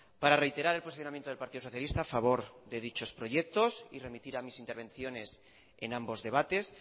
para reiterar el posicionamiento del partido socialista a favor de dichos proyectos y remitir a mis intervenciones en ambos debates